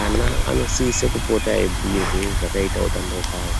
Ana anosise kupota eibhuirwe zvakaita utano hwawo